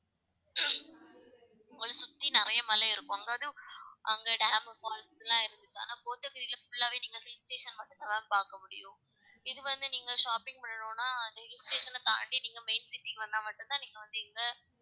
உங்களை சுத்தி நிறைய மலை இருக்கும் அங்க அதாவது அங்க dam உ falls லாம் இருக்குது ஆனா கோத்தகிரில full ஆவே நீங்க hill station மட்டும் தான் பாக்க முடியும் இது வநது நீங்க shopping பண்ணனும்னா அந்த hill station அ தாண்டி நீங்க main city க்கு வந்தா மட்டும் தான் நீங்க வந்து இங்க